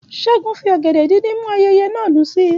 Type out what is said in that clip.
Ṣẹ́gun fi ọ̀gẹ̀dẹ̀ díndín mú ayẹyẹ náà dùn sí i